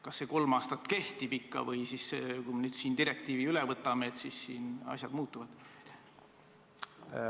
Kas see kolm aastat jääb kehtima või kui me selle direktiivi üle võtame, kas siis asjad muutuvad?